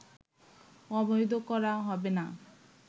অবৈধ করা হবে না